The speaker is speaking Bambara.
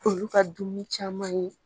Olu ka dumuni caman ye